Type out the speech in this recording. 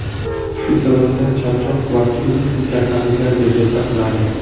Shu sababdan, charchoq va turli xil kasalliklar bezovta qiladi.